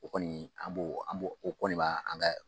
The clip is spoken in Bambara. O kɔni an b'o an b'o o kɔni bɛ an kɛ